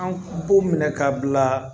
An b'u minɛ ka bila